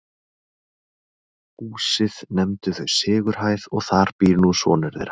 Húsið nefndu þau Sigurhæð og þar býr nú sonur þeirra